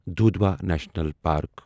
Dudhwa national park